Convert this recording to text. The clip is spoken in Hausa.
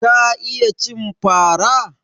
Ka iya cin fara?